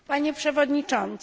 Panie przewodniczący!